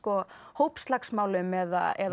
hópslagsmálum eða